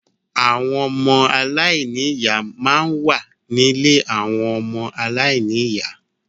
Àwọn ọmọ aláìní ìyá máa ń wà ní ilé àwọn ọmọ aláìní ìyá.